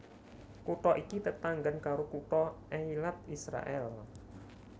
Kutha iki tetanggan karo kutha Eilat Israèl